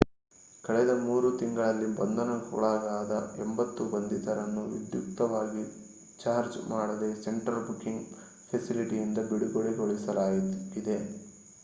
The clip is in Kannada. ಕಳೆದ 3 ತಿಂಗಳಲ್ಲಿ ಬಂಧನಕ್ಕೊಳಗಾದ 80 ಬಂಧಿತರನ್ನು ವಿಧ್ಯುಕ್ತವಾಗಿ ಚಾರ್ಜ್ ಮಾಡದೇ ಸೆಂಟ್ರಲ್ ಬುಕಿಂಗ್ ಫೆಸಿಲಿಟಿಯಿಂದ ಬಿಡುಗಡೆಗೊಳಿಸಲಾಗಿದೆ